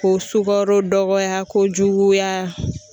Ko sukaro dɔgɔya ko juguya